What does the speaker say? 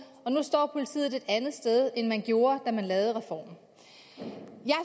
og nu står politiet et andet sted end de gjorde da man lavede reformen jeg